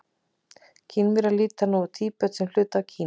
Kínverjar líta nú á Tíbet sem hluta af Kína.